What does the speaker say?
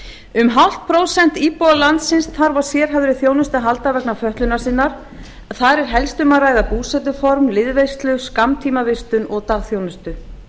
um hálft prósent íbúa landsins þarf á sérhæfðri þjónustu að halda vegna fötlunar sinnar þar er helst um að ræða búsetuform liðveislu skammtímavistun og dagþjónustu